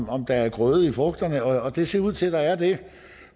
om der er grøde i frugterne og det ser ud til at der